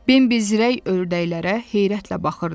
Bembi zirək ördəklərə heyrətlə baxırdı.